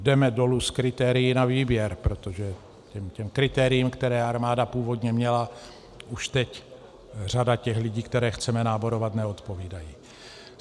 Jdeme dolů s kritérii na výběr, protože těm kritériím, která armáda původně měla, už teď řada těch lidí, které chceme náborovat, neodpovídá.